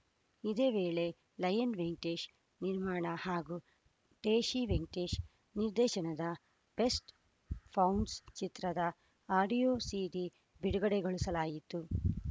ಇದೇ ವೇಳೆ ಲಯನ್‌ ವೆಂಕಟೇಶ್‌ ನಿರ್ಮಾಣ ಹಾಗೂ ಟೇಶಿ ವೆಂಕಟೇಶ್‌ ನಿರ್ದೇಶನದ ಬೆಸ್ಟ್‌ ಪೌಂಡ್ಸ್ ಚಿತ್ರದ ಆಡಿಯೋ ಸೀಡಿ ಬಿಡುಗಡೆಗೊಳಿಸಲಾಯಿತು